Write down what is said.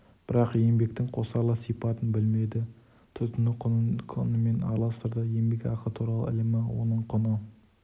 бірақ еңбектің қосарлы сипатын білмеді тұтыну құнын құнменен араластырды еңбекақы туралы ілімі оның құны